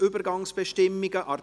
10. Übergangsbestimmungen /